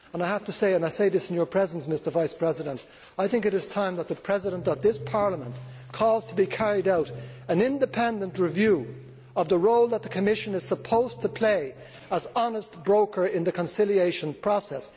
I have to say and I say this in your presence, Mr Vice President that it is time for the President of this Parliament to call for an independent review of the role that the Commission is supposed to play as honest broker in the conciliation process.